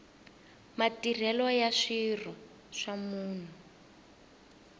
matirhelo ya swirho swa munhu